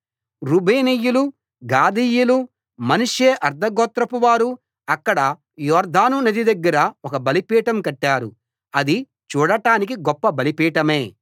రూబేనీయులు గాదీయులు మనష్షే అర్థ గోత్రపు వారు అక్కడ యొర్దాను నది దగ్గర ఒక బలిపీఠం కట్టారు అది చూడడానికి గొప్ప బలిపీఠమే